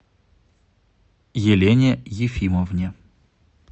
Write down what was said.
елене ефимовне